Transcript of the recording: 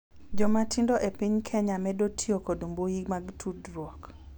Joma tindo e piny Kenya medo tiyo kod mbui mag tudruok